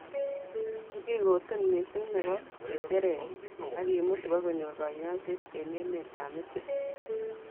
kikikoten missing nebo ngecheret akemut ibkonyor konyoiset eng emet ab misri